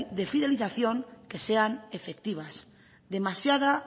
de fidelización que sean efectivas demasiada